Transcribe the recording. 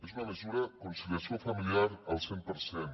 és una mesura de conciliació familiar al cent per cent